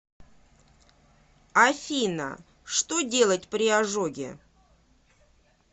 афина что делать при ожоге